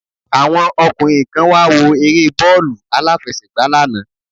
Àwọn ọkùnrin kan wáwo eré bóòlù alàfẹsẹ̀gbà lánàá